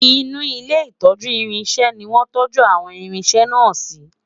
inú ilé itọju irinṣẹ ní wọn tọju àwọn irinṣẹ na si